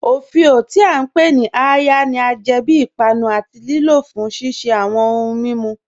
Ọfíọ, tí a ǹ pe ni "àya," ni a jẹ bí ìpànù àti lìlò fún ṣiṣẹ̀ awọn ọ̀hùǹ mímú.